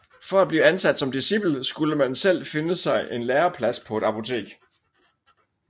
For at blive ansat som discipel skulle man selv finde sig en læreplads på et apotek